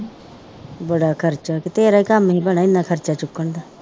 ਬੜਾ ਖਰਚਾ ਤੇ ਤੇਰਾ ਕਾਮ ਨੀ ਭੈਣੇ ਏਨਾ ਖਰਚਾ ਚੁੱਕਣ ਦਾ